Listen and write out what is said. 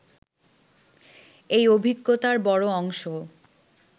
এই অভিজ্ঞতার বড় অংশ